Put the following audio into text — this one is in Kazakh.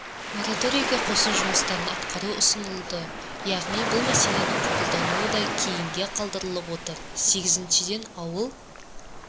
мораторийге қосу жұмыстарын атқару ұсынылды яғни бұл мәселенің қабылдануы да кейінге қалдырылып отыр сегізіншіден ауыл